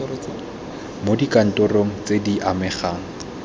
mo dikantorong tse di amegang